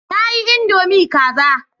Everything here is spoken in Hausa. Na yi Indomie kaza